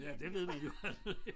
Ja det ved man jo aldrig